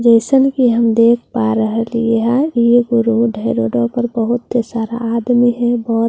जैसन के हम देख पा रह लिए है ये एक ऊ रोड है रोडों पर बहुतत सारा आदमी है बहुत सारा गाड़ी--